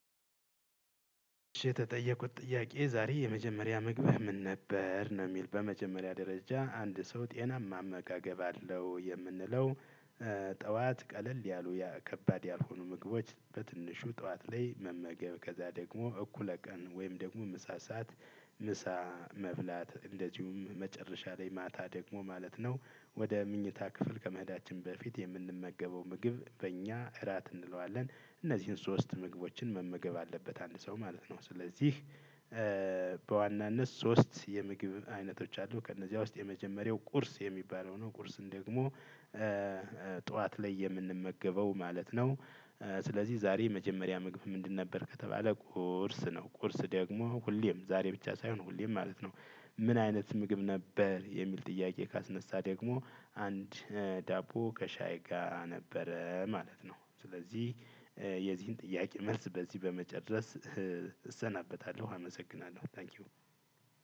የተጠየቅኩት ጥያቄ ዛሬ የመጀመሪያ ምግብህ ምን ነበር ነው ሚል በመጀመሪያ ደረጃ አንድ ሰው ጤናማ አመጋገብ አለው የምንለው። ጠዋት ቀለል ያሉ ከባድ ያልሆኑ ምግቦች በትንሹ ጠዋት ላይ መመገብ ከዛ ደግሞ እኩለ ቀን ወይም ደግሞ ምሳ ሰዓት ምሳ መብላት እንደዚሁም መጨረሻ ላይ ማታ ደግሞ ማለት ነው። ወደ ምኝታ ክፍል ከመሄዳችን በፊት የምንመገበው ምግብ በእኛ እራት እንለዋለን። እነዚህን ሶስት ምግቦችን መመገብ አለበት አንድ ሰው ማለት ነው። ስለዚህ በዋናነት ሶስት የምግብ አይነቶች አሉ ከእነዚያ ውስጥ የመጀመሪያው ቁርስ የሚባለው ነው ቁርስ ደግሞ። ጠዋት ላይ የምንመገበው ማለት ነው። ስለዚህ ዛሬ የመጀመሪያ ምግብህ ምንድን ነበር ከተባለ ቁርስ ነው። ቁርስ ደግሞ ሁሌም ዛሬ ብቻ ሳይሆን ሁሌም ማለት ነው። ምን አይነት ምግብ ነበር የሚል ጥያቄ ካስነሳ ደግሞ። አንድ ዳቦ ከሻይ ጋር ነበረ ማለት ነው። ስለዚህ የዚህን ጥያቄ መልስ በዚህ በመጨረስ እሰናበታለሁ አመሰግናለሁ ታንኪው።